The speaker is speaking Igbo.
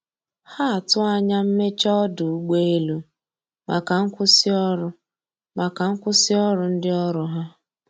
Ha atụ anya mmeche ọdụ ụgbọ elụ maka nkwụsi ọrụ maka nkwụsi ọrụ ndi ọrụ ha